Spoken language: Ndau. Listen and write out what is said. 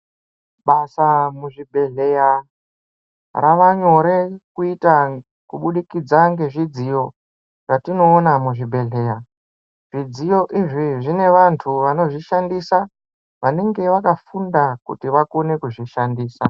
Basa muzvibhehleya ravanyore kuita kubudikidza ngezvidziyo zvatinoona muzvibhehleya ,zvidziyo izvi zvine vantu vanozvishandisa vanenge vakafunda kuti vakone kuzvishandisa.